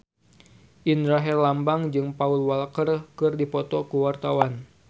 Indra Herlambang jeung Paul Walker keur dipoto ku wartawan